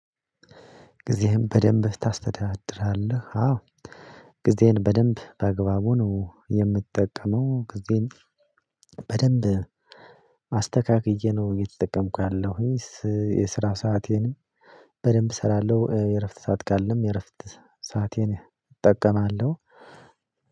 ጊዜህን በደንብ ታስተዳድራለህ? አዎ ጊዜዬን በደንብ በአግባቡ ነው የምጠቀመው። ጊዜን በደንብ አስተካክዬ ነው እየተጠቀምኩ ያለሁት። የስራ ሰአቴን በደንብ እሰራለሁ የእረፍት ሰዓት ካለም የእረፍት ሰአቴን እጠቀማለሁ።